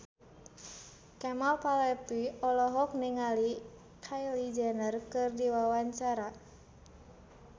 Kemal Palevi olohok ningali Kylie Jenner keur diwawancara